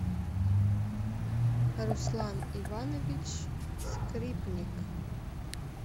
руслан иванович скрипник